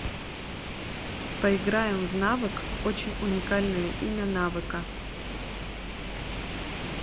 поиграем в навык очень уникальное имя навыка